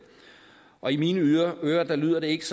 og i mine ører lyder det ikke